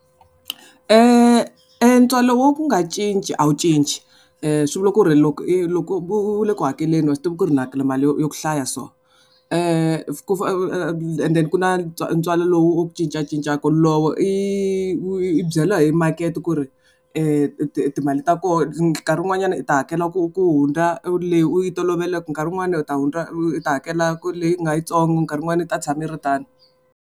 E ntswalo wo ku nga cinci a wu cinci swi vula ku ri loko i loko u le ku hakeleni wa swi tiva ku ri ni hakela mali yo ya ku hlaya so and then ku ntswalo lowu cincacincaka wolowo i byela hi makete ku ri timali ta koho nkarhi wun'wanyana u ta hakela ku ku hundza leyi u yi toloveleke nkarhi wun'wani na u ta hundza i ta hakela ku ri leyi u nga yitsongo nkarhi wun'wana i ta tshama yi ri tano.